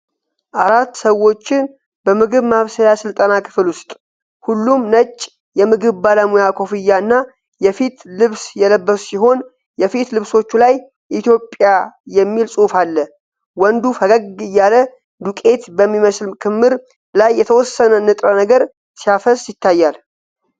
አራት ሰዎችን በምግብ ማብሰያ ሥልጠና ክፍል ውስጥ። ሁሉም ነጭ የምግብ ባለሙያ ኮፍያና የፊት ልብስ የለበሱ ሲሆን፣ የፊት ልብሶቹ ላይ "ኢትዮጵያ" የሚል ጽሑፍ አለ። ወንዱ ፈገግ እያለ ዱቄት በሚመስል ክምር ላይ የተወሰነ ንጥረ ነገር ሲያፈስ ይታያል።